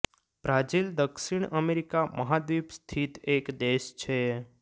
Brazil દક્ષિણ America મહાદ્વીપ સ્થિત એક દેશ છે